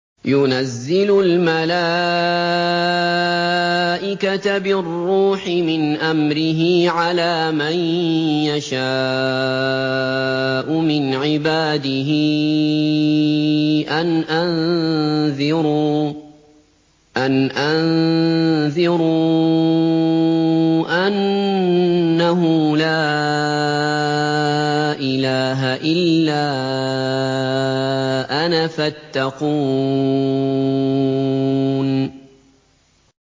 يُنَزِّلُ الْمَلَائِكَةَ بِالرُّوحِ مِنْ أَمْرِهِ عَلَىٰ مَن يَشَاءُ مِنْ عِبَادِهِ أَنْ أَنذِرُوا أَنَّهُ لَا إِلَٰهَ إِلَّا أَنَا فَاتَّقُونِ